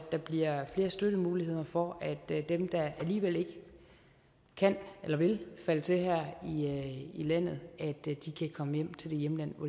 der bliver flere støttemuligheder for at dem der alligevel ikke kan eller vil falde til her i landet kan komme hjem til det hjemland